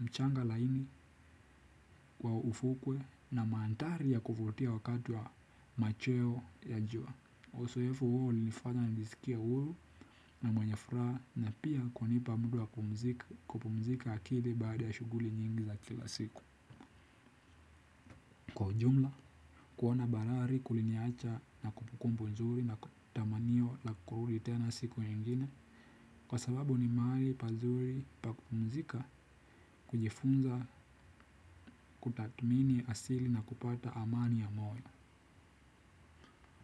mchanga laini kwa ufukwe na maanthari ya kuvutia wakati wa machweo ya jua. Uzoefu huo ulinifanya nijisikie huru na mwenye furaha na pia kunipa muda wa kupumzika akili baada ya shughuli nyingi za kila siku. Ujumla, kuona bahari kuliniacha na kumbukumbu nzuri na tamanio la kurudi tena siku nyingine. Kwa sababu ni mahali pazuri pa kupumzika kujifunza kutathmini asili na kupata amani ya moyo.